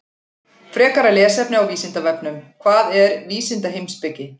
Frekara lesefni á Vísindavefnum: Hvað er vísindaheimspeki?